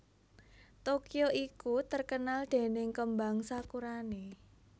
Tokyo iku terkenal dening kembang sakurane